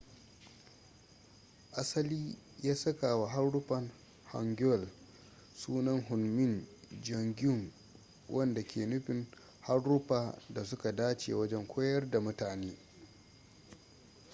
asali ya sakawa haruffan hangeul sunan hunmin jeongeum wanda ke nufin haruffa da su ka dace wajen koyar da mutane